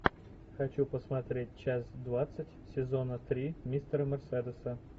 хочу посмотреть часть двадцать сезона три мистера мерседеса